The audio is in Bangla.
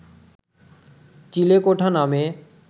চিলেকোঠা নামে